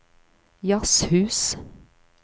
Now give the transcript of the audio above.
jazzhus